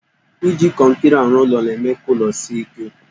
Iji kọnkịrị arụ ụlọ na-eme ka ụlọ sie ike.